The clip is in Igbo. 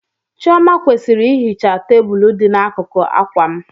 Chioma kwesịrị ihicha tebụl dị n'akụkụ akwa m.